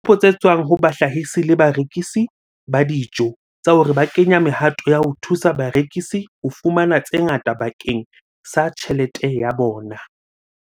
ditshupo tse tswang ho bahlahisi le barekisi ba dijo tsa hore ba kenya mehato ya ho thusa barekisi ho fumana tse ngata bakeng sa tjhelete ya bona.